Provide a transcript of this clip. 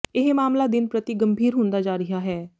ਇਹ ਮਾਮਲਾ ਦਿਨ ਪ੍ਰਤੀ ਗੰਭੀਰ ਹੁੰਦਾ ਜਾ ਰਿਹਾ ਹੈ